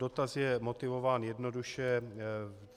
Dotaz je motivován jednoduše.